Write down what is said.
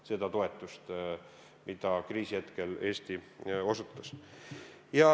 – seda toetust, mida Eesti kriisihetkel osutas.